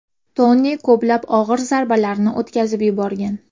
Toni ko‘plab og‘ir zarbalarni o‘tkazib yuborgan.